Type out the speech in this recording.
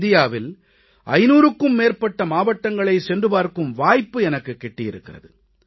இந்தியாவில் 500க்கும் மேற்பட்ட மாவட்டங்களைச் சென்று பார்க்கும் வாய்ப்பு எனக்குக் கிட்டியிருக்கிறது